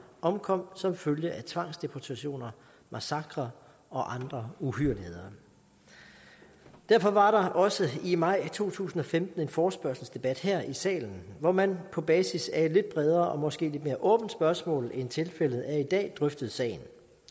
omkom som følge af tvangsdeportationer massakrer og andre uhyrligheder derfor var der også i maj to tusind og femten en forespørgselsdebat her i salen hvor man på basis af et lidt bredere og måske lidt mere åbent spørgsmål end tilfældet er i dag drøftede sagen